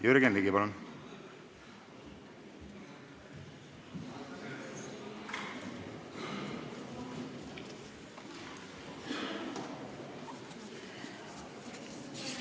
Jürgen Ligi, palun!